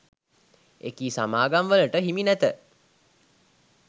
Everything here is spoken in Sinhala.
එකී සමාගම්වලට හිමි නැත.